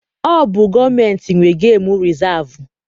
Ọ bụ gọọmentị nwe gemu rịzaavụ.